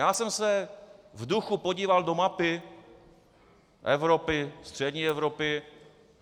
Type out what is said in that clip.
Já jsem se v duchu podíval do mapy Evropy, střední Evropy.